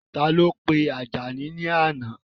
Ta ló pe Àjàní ní àná?